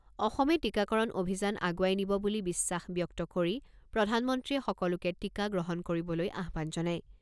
অসমে টীকাকৰণ অভিযান আগুৱাই নিব বুলি বিশ্বাস ব্যক্ত কৰি প্ৰধানমন্ত্ৰীয়ে সকলোকে টীকা গ্ৰহণ কৰিবলৈ আহ্বান জনায়।